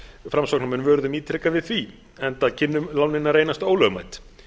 framsóknarmenn vöruðum ítrekað við því enda kynnu lánin að reynast ólögmæt